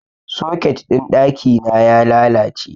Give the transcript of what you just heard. Soket ɗin ɗaki na ya lalace.